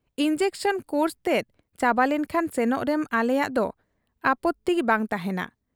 Injection course ᱛᱮᱫ ᱪᱟᱵᱟᱞᱮᱱ ᱠᱷᱟᱱ ᱥᱮᱱᱚᱜ ᱨᱮᱢ ᱟᱞᱮᱭᱟᱜ ᱫᱚ ᱟᱯᱚᱛᱤᱜᱮ ᱵᱟᱭ ᱛᱟᱦᱮᱸᱱᱟ ᱾'